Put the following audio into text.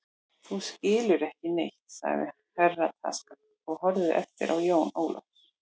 Þú skilur ekki neitt, sagði Herra Takashi og horfði efins á Jón Ólaf.